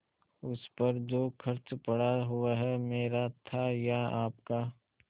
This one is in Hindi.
उस पर जो खर्च पड़ा वह मेरा था या आपका